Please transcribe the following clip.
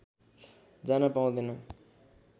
जान पाउँदैन